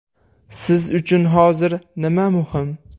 Siz uchun hozir nima muhim?